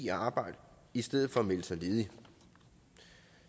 i arbejde i stedet for at melde sig ledige